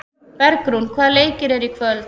Bergrún, hvaða leikir eru í kvöld?